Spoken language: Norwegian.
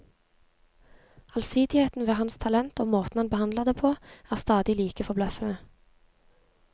Allsidigheten ved hans talent og måten han behandler det på, er stadig like forbløffende.